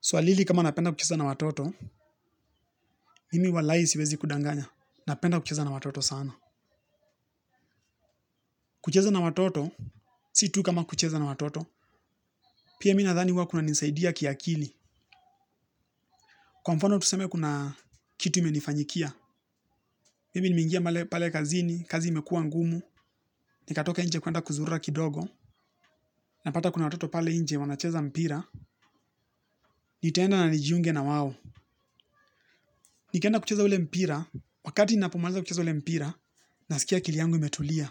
Swali hili kama napenda kucheza na watoto, mimi walai siwezi kudanganya, napenda kucheza na watoto sana. Kucheza na watoto, si tu kama kucheza na watoto, pia mimi nadhani huwa kunanisaidia kiakili. Kwa mfano tuseme kuna kitu imenifanyikia, mimi nimeingia pale kazini, kazi imekua ngumu, nikatoke nje kwenda kuzurura kidogo, napata kuna watoto pale nje wanacheza mpira, nitaenda na nijiunge na wao. Nikienda kucheza ule mpira, wakati napomaliza kucheza ule mpira, nasikia akili yangu imetulia,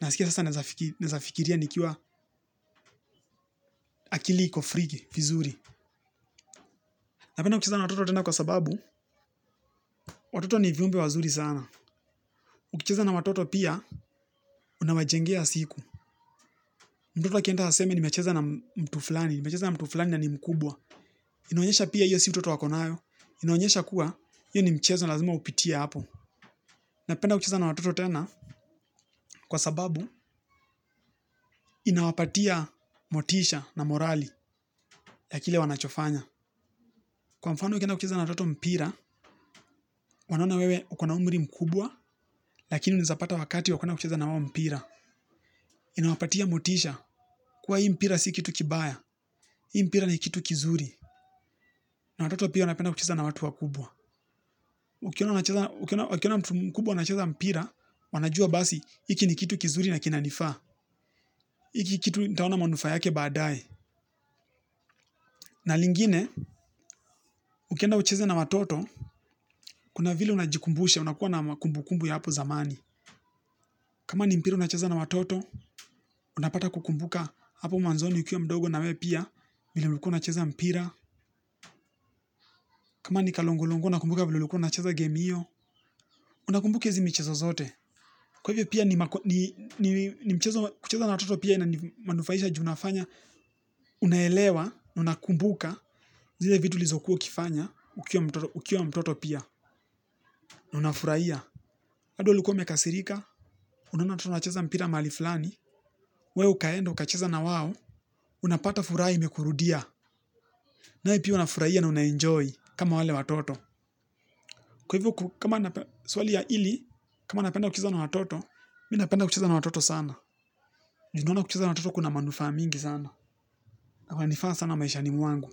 nasikia sasa naezafikiria nikiwa akili iko free vizuri. Napenda kucheza na watoto tena kwa sababu, watoto ni viumbe wazuri sana. Ukucheza na watoto pia, unawajengea siku. Mtoto akienda aseme nimecheza na mtu fulani, nimecheza na mtu fulani na ni mkubwa. Inaonyesha pia hiyo si utoto ako nayo, inaonyesha kuwa hii ni mchezo lazima upitie hapo. Napenda kucheza na watoto tena kwa sababu, inawapatia motisha na morali ya kile wanachofanya. Kwa mfano ukienda ucheza na watoto mpira, wanaona wewe uko na umri mkubwa, lakini unaezapata wakati wa kwenda kucheza na wao mpira. Inawapatia motisha, kuwa hii mpira si kitu kibaya, hii mpira ni kitu kizuri. Na watoto pia wanapenda kucheza na watu wakubwa. Ukiona mtu mkubwa anacheza mpira, wanajua basi, hiki ni kitu kizuri na kinanifaa. Hiki kitu nitaona manufaa yake baadae. Na lingine, ukienda kucheza na watoto, kuna vile unajikumbusha, unakuwa na kumbukumbu ya hapo zamani. Kama ni mpira unacheza na watoto, unapata kukumbuka hapo mwanzoni ukiwa mdogo na wewe pia, vile ulikuwa unacheza mpira. Kama ni kalongolongo unakumbuka vile ulikuwa unacheza game hiyo, unakumbuka hizi michezo zote. Kwa hivyo pia ni mchezo kucheza na watoto pia inamanufaisha ju nafanya. Unaelewa na unakumbuka, zile vitu ulizokuwa ukifanya, ukiwa mtoto pia, na unafurahia. Hadi ulikuwa umekasirika. Unaona watoto wanacheza mpira mahali fulani. Wewe ukaenda ukacheza na wao. Unapata furaha imekurudia. Nawe pia uanafurahia na una enjoy kama wale watoto. Kwa hivo swali hili kama napenda kucheza na watoto. Mimi napenda kucheza na watoto sana ju noana kucheza na watoto kuna manufaa mingi sana. Na kwanifaa sana maishani mwangu.